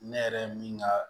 Ne yɛrɛ min ka